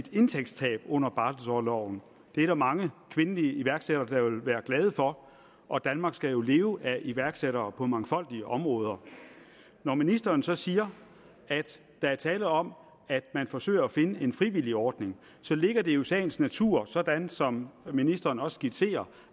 indtægtstab under barselorloven det er der mange kvindelige iværksættere der vil være glade for og danmark skal leve af iværksættere på mangfoldige områder når ministeren så siger at der er tale om at man forsøger at finde en frivillig ordning så ligger det jo i sagens natur sådan som ministeren også skitserer